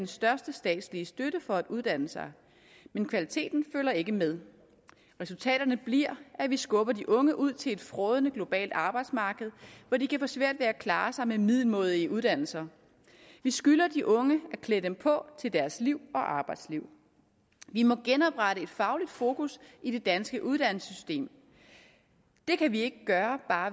største statslige støtte for at uddanne sig men kvaliteten følger ikke med resultatet bliver at vi skubber de unge ud til at frådende globalt arbejdsmarked hvor de kan få svært ved at klare sig med middelmådige uddannelser vi skylder de unge at klæde dem på til deres liv og arbejdsliv vi må genoprette et fagligt fokus i det danske uddannelsessystem det kan vi ikke gøre